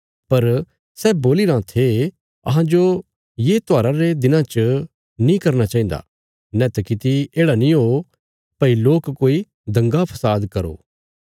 पर सै बोलीराँ थे अहांजो ये त्योहारा रे दिनां च नीं करना चाहिन्दा नैत किति येढ़ा नीं ओ भई लोक कोई दंगा फसाद करो